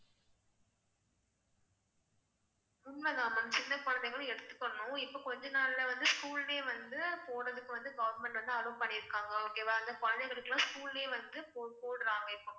உண்மைதான் ma'am சின்ன குழந்தைகளும் எடுத்துக்கணும் இப்ப கொஞ்ச நாள்ல வந்து school லே வந்து போடுறதுக்கு வந்து government வந்து allow பண்ணிருக்காங்க okay வா. அந்த குழந்தைகளுக்குலாம் school லே வந்து போ~ போடுறாங்க இப்போ